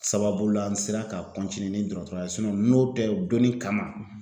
Sababu la an sera ka ni dɔgɔtɔrɔya ye n'o tɛ donnin kama